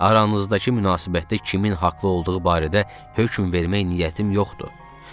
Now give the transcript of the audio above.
Aranızdakı münasibətdə kimin haqlı olduğu barədə hökm vermək niyyətim yoxdur.